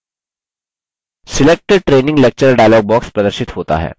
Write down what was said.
select training lecture file dialog प्रदर्शित होता है